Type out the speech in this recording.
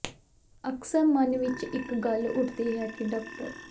ਅਕਸਰ ਮਨ ਵਿਚ ਇਹ ਗੱਲ ਉੱਠਦੀ ਹੈ ਕਿ ਡਾ